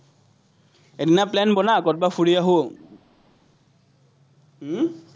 এদিনা plan বনা, কৰবাত ফুৰি আহোঁ উম